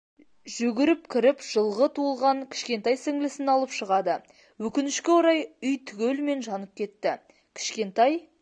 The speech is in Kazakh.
жүгіріп кіріп жылғы туылған кішкентай сіңілісін алып шығады өкінішке орай үй түгелімен жанып кетті кішкентай